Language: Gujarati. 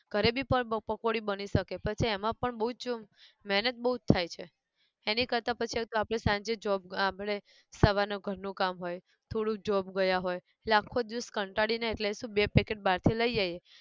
ઘરે બી પર પકોડી બની શકે પછી એમાં પણ બઉજ, મહેનત બઉજ થાય છે, એની કરતા પછી આપણે પ્રોબ સાંજે જ job આપણે સવાર નું ઘર નું કામ હોય, થોડું job ગયા હોય, એટલે આખો દિવસ કંટાળી ને એટલે શુ બે packet બહાર થી લઇ આયીએ